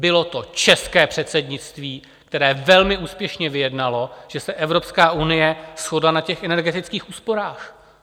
Bylo to české předsednictví, které velmi úspěšně vyjednalo, že se Evropská unie shodla na těch energetických úsporách.